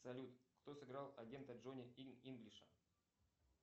салют кто сыграл агента джони инглиша